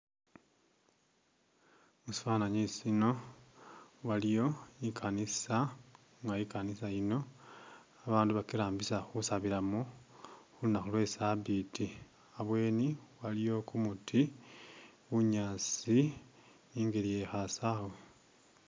Musifanani sino waliwo ikanisa nga ikanisa yino abandu bakirambisa khusabilamo khulunaku lwe sabiti abweni aliwo kumuti bunyasi ningeli yekhasawe.